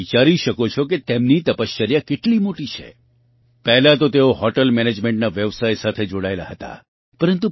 તમે વિચારી શકો કે તેમની તપશ્ચર્યા કેટલી મોટી છે પહેલાં તો તેઓ હૉટલ મેનેજમેન્ટના વ્યવસાય સાથે જોડાયેલા હતા